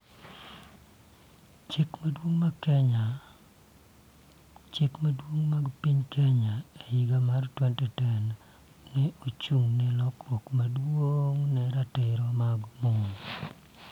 Chik madongo mag piny Kenya e higa mar 2010 ne ochung' ne lokruok maduong' e ratiro mag mon.